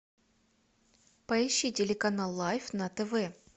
поищи телеканал лайф на тв